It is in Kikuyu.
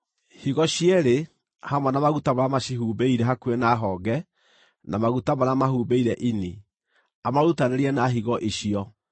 higo cierĩ hamwe na maguta marĩa macihumbĩire hakuhĩ na honge, na maguta marĩa mahumbĩire ini, amarutanĩrie na higo icio.